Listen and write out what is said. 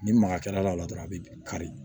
Ni magakɛla la dɔrɔn a bi kari